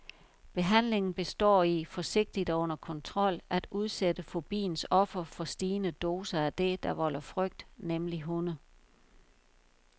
Behandlingen består i, forsigtigt og under kontrol, at udsætte fobiens offer for stigende doser af det, der volder frygt, nemlig hunde.